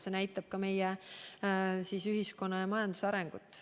See näitab ka meie ühiskonna ja majanduse arengut.